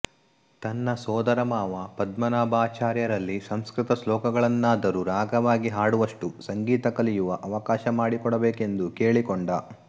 ತನ್ನ ಸೋದರಮಾವ ಪದ್ಮನಾಭಾಚಾರ್ಯರಲ್ಲಿ ಸಂಸೃತ ಶ್ಲೋಕಗಳನ್ನಾದರೂ ರಾಗವಾಗಿ ಹಾಡುವಷ್ಟು ಸಂಗೀತ ಕಲಿಯುವ ಅವಕಾಶ ಮಾಡಿಕೊಡಬೇಕೆಂದು ಕೇಳಿಕೊಂಡ